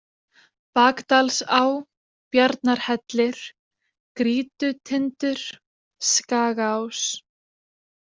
Bakdalsá, Bjarnarhellir, Grýtutindur, Skagaás